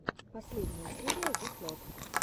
последняя серия зэслот